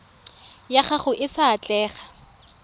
ya gago e sa atlega